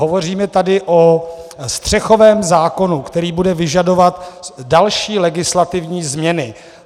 Hovoříme tady o střechovém zákonu, který bude vyžadovat další legislativní změny.